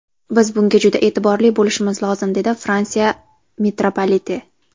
Biz bunga juda e’tiborli bo‘lishimiz lozim”, dedi Fransiya mitropoliti.